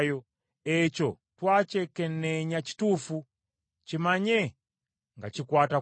“Ekyo twakyekenneenya, kituufu. Kimanye nga kikwata ku ggwe.”